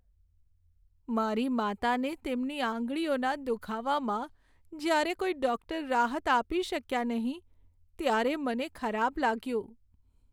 મારી માતાને તેમની આંગળીઓના દુખાવામાં જ્યારે કોઈ ડૉક્ટર રાહત આપી શક્યા નહીં, ત્યારે મને ખરાબ લાગ્યું.